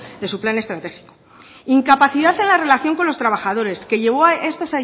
de su plan estratégico incapacidad en la relación con los trabajadores que llevó a esto